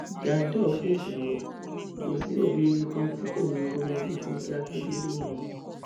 jandor fèsì ọrọ kò sí òbí rere kan tí kò ní í fọmọ bíi fúnkẹ akíndélé yangàn